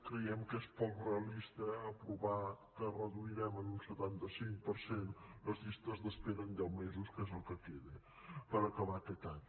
creiem que és poc realista aprovar que reduirem en un setanta cinc per cent les llistes d’espera en deu mesos que és el que queda per acabar aquest any